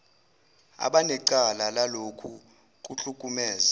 abanecala lalokhu kuhlukumeza